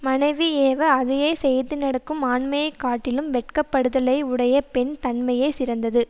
மனைவி ஏவ அதையே செய்து நடக்கும் ஆண்மையைக் காட்டிலும் வெட்கப்படுதலை உடைய பெண் தன்மையே சிறந்தது